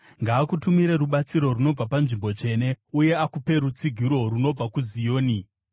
Ngaakutumire rubatsiro runobva panzvimbo tsvene, uye akupe rutsigiro runobva kuZioni.